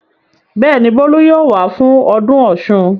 Bẹ́ẹ̀ ni, Bólú yóò wá fún ọdún Ọ̀ṣun.